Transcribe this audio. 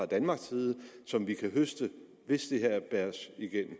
danmarks side som vi kan høste hvis det her bæres igennem